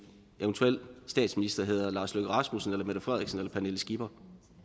eventuel statsminister hedder lars løkke rasmussen eller mette frederiksen eller pernille skipper